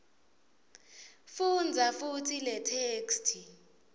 fundza futsi letheksthi